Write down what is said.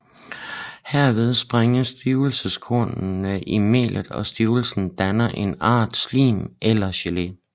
Herved sprænges stivelseskornene i melet og stivelsen danner en art slim eller gelé